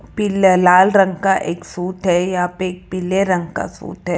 पीला लाल रंग का एक सूट है यहां पे एक पीले रंग का सूट है।